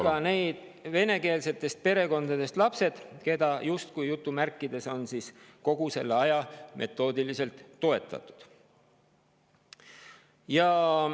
… kui ka need venekeelsetest perekondadest pärit lapsed, keda on kogu selle aja metoodiliselt justkui "toetatud".